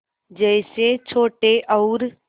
जैसे छोटे और